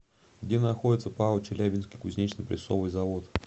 где находится пао челябинский кузнечно прессовый завод